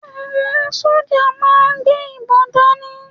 Àwọn sójà náà máà ń gbé ìbọn dáni